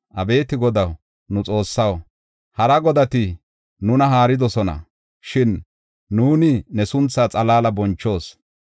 Abeeti Godaw, nu Xoossaw, hara godati nuna haaridosona; shin nuuni ne sunthaa xalaala bonchoos.